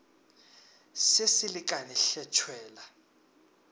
se se lekane hle tšwela